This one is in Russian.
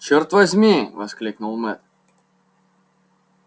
чёрт возьми воскликнул мэтт